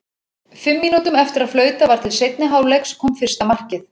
Fimm mínútum eftir að flautað var til seinni hálfleiks kom fyrsta markið.